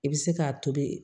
I bɛ se k'a tobi